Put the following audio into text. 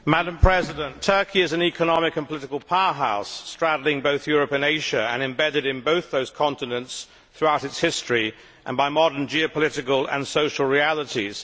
Madam President, Turkey is an economic and political powerhouse straddling both Europe and Asia and embedded in both those continents throughout its history and by modern geopolitical and social realities.